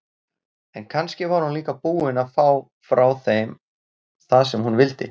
En kannski var hún líka búin að fá frá þeim það sem hún vildi.